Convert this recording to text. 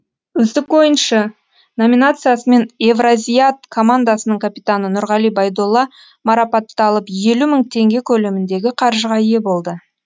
үздік ойыншы номинациясымен евразиат командасының капитаны нұрғали байдулла марапатталып елу мың теңге көлеміндегі қаржыға ие болды